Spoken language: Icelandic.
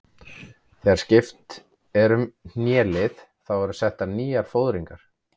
Þegar skipt er um hnélið þá eru settar nýjar fóðringar.